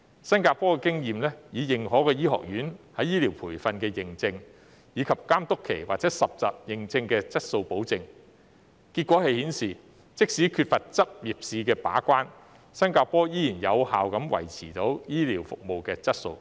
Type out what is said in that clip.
新加坡的經驗是，以認可醫學院在醫療培訓的認證，以及監督期或實習認證作質素保證，結果顯示，即使缺乏執業試把關，新加坡依然有效地維持醫療服務的質素。